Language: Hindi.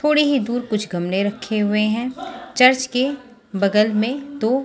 थोड़ी ही देर कुछ गमने रखे हुए हैं चर्च के बगल में दो--